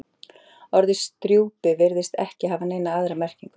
Orðið strjúpi virðist ekki hafa neina aðra merkingu.